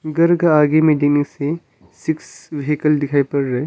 घर का आगे में देने से सिक्स व्हीकल दिखाई पड़ रहे--